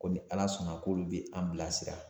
Ko ni ala sɔnna k'olu bɛ an bilasira